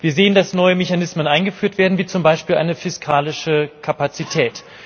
Wir sehen, dass neue Mechanismen eingeführt werden, wie zum Beispiel eine fiskalische Kapazität.